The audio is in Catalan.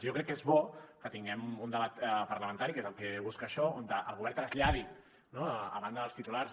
jo crec que és bo que tinguem un debat parlamentari que és el que busca això on el govern traslladi a banda dels titulars